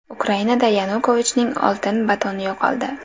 Ukrainada Yanukovichning oltin batoni yo‘qoldi.